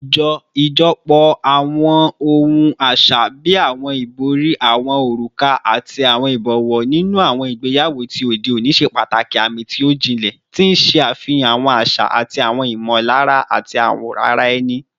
Ijọpọ awọn ohun aṣa bii awọn ibori, awọn oruka, ati awọn ibọwọ ninu awọn igbeyawo ti ode oni ṣe pataki aami ti o jinlẹ, ti n ṣe afihan awọn aṣa ati awọn imọlara ti ara ẹni